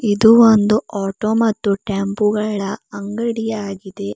ಇದು ಒಂದು ಆಟೋ ಮತ್ತು ಟೆಂಪೋ ಗಳ ಅಂಗಡಿಯಾಗಿದೆ.